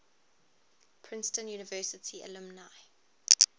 princeton university alumni